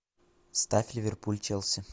ставь ливерпуль челси